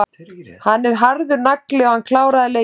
Hann er harður nagli og hann kláraði leikinn.